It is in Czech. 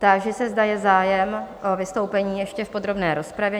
Táži se, zda je zájem o vystoupení ještě v podrobné rozpravě?